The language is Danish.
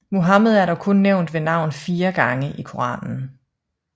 Muhammed er dog kun nævnt ved navn fire gange i Koranen